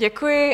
Děkuji.